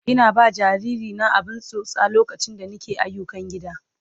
Ina ba jariri na abin tsotsa lokaci da nake ayyukan gida.